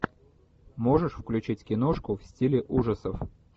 можешь включить киношку в стиле ужасов